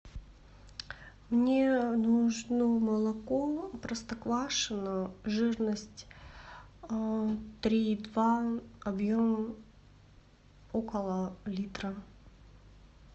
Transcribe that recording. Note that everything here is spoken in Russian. мне нужно молоко простоквашино жирность три и два объем около литра